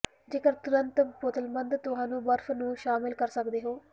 ਜੇਕਰ ਤੁਰੰਤ ਬੋਤਲਬੰਦ ਤੁਹਾਨੂੰ ਬਰਫ਼ ਨੂੰ ਸ਼ਾਮਿਲ ਕਰ ਸਕਦੇ ਹੋ